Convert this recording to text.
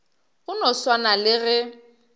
go no swana le ge